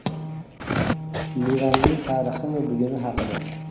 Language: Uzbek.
Livanning tarixi va buguni haqida.